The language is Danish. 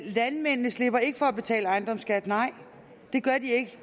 landmændene slipper ikke for at betale ejendomsskat nej det gør de ikke